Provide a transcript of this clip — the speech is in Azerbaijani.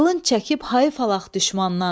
Qılınc çəkib hayıf alaq düşmandan.